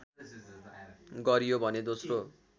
गरियो भने दोस्रो